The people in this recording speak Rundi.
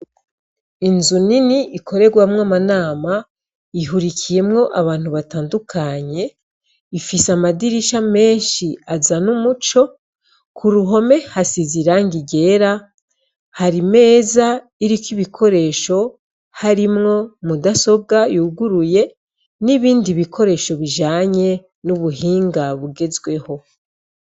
inzu nini ikoregwamwo amanama ihurikiyemwo abantu batandukanye ifise amadirisha menshi aza n'umuco ku ruhome hasize irangi ryera hari meza iriko ibikoresho harimwo mudasoga yuguruye n'ibindi bikoresho bijanye n'ubuhinga bugezweho